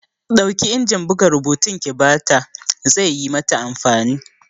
Ɗauki injin buga rubutun ki bata! ze yi mata amfani!